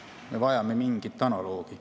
Me vajame mingit analoogi.